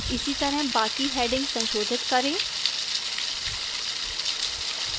इसीतरह बाकी headings संशोधित करें